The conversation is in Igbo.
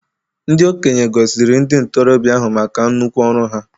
Ndị okenye gọziri ndị ntorobịa ahụ maka nnukwu ọrụ ha.